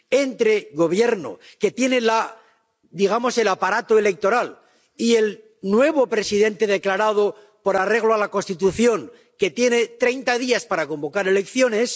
entre el Gobierno que tiene, digamos, el aparato electoral y el nuevo presidente declarado con arreglo a la Constitución, que tiene 30 días para convocar elecciones.